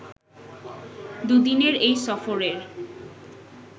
দুদিনের এই সফরের